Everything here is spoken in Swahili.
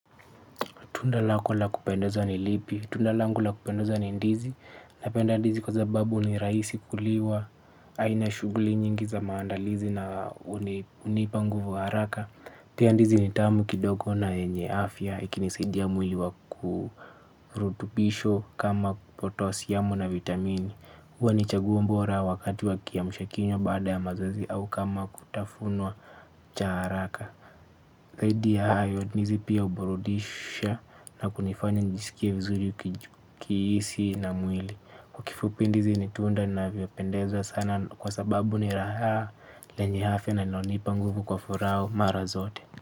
Tunda lako la kupendeza ni lipi, tunda langu la kupendeza ni ndizi napenda ndizi kwa sababu ni rahisi kuliwa. Aina shuguli nyingi za maandalizi na unipa nguvu haraka. Tia ndizi ni tamu kidogo na enye afya. Ikinisidia mwili wa kuruutupisho kama potosyamu na vitamini huwa ni chaguo bora wakati wakiamshwa kunywa bada ya mazoezi au kama kutafunwa cha haraka ndizi pia uburudisha na kunifaya njisikie vizuri kiisi na mwili. Kifupi ndizi nitunda inavyopendezwa sana kwa sababu ni raha lenye afia na inaonipa nguvu kwa furaha mara zote.